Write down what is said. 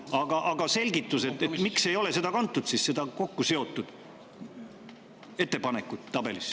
Aga selgitust, miks ei ole seda kokkuseotud ettepanekut kantud tabelisse.